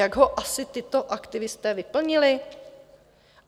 Jak ho asi tito aktivisté vyplnili?